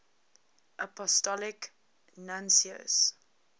apostolic nuncios